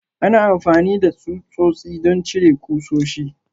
Ana amfani da tsutsotsi don cire ƙusoshi.